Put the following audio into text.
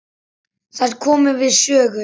Þær komu við sögu.